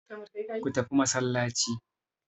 Go to mosque.